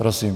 Prosím.